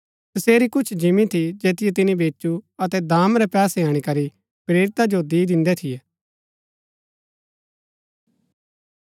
तसेरी कुछ जिंमी थी जैतिओ तिनी बेचु अतै दाम रै पैसे अणीकरी प्रेरिता जो दी दिन्दै थियै